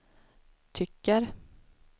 tycker